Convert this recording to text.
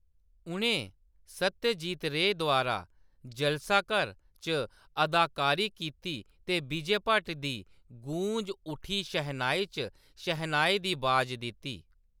उʼनें सत्यजीत रे द्वारा जलसाघर च अदाकारी कीती ते विजय भट्ट दी गूंज उठी शहनाई च शैहनाई दी अवाज दित्ती।